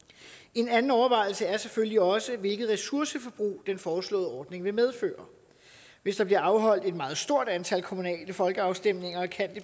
en anden overvejelse er selvfølgelig også hvilket ressourceforbrug den foreslåede ordning vil medføre hvis der bliver afholdt et meget stort antal kommunale folkeafstemninger kan